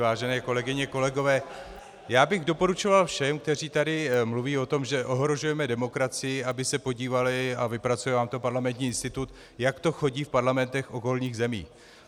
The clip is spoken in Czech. Vážené kolegyně, kolegové, já bych doporučoval všem, kteří tady mluví o tom, že ohrožujeme demokracii, aby se podívali, a vypracuje vám to Parlamentní institut, jak to chodí v parlamentech okolních zemí.